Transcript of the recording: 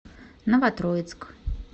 новотроицк